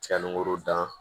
Cɛ ni woro dan